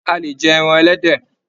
A lè jẹ ẹran ẹlẹ́dẹ̀.